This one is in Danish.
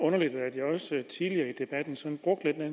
underligt at man som